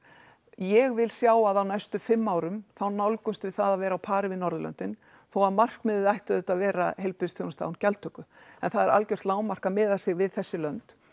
ég vil sjá að á næstu fimm árum þá nálgumst við það að vera á pari við Norðurlöndin þó að markmiðið ætti auðvitað að vera heilbrigðisþjónusta án gjaldtöku en það er algjört lágmark að miða sig við þessi lönd